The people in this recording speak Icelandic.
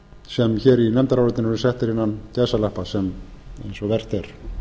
sem hér í nefndarálitinu eru settir innan gæsalappa eins og vert er